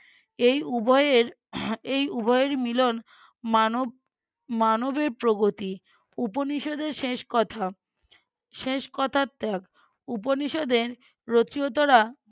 এই উভয়ের এই উভয়েরই মিলন, মানব মানবের প্রগতি উপনিষদে শেষ কথা, শেষ কথা ত্যাগ, উপনিষদের রচিয়তরা